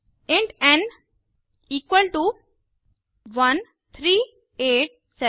int n equal to 13876